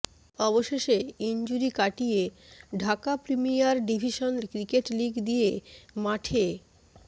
অবশেষে ইনজুরি কাটিয়ে Dhaka premier division cricket league দিয়ে মাঠে